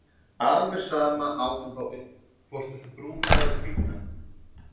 Alveg sama át hann þá upp, hvort viltu brúna eða hvíta?